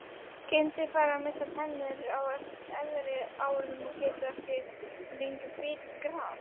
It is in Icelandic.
Kindur fara að missa tennur á efri árum og geta þá ekki lengur bitið gras.